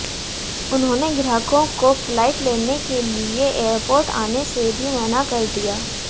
उन्होंने ग्राहकों को फ्लाइट लेने के लिए एयरपोर्ट आने से भी मना कर दिया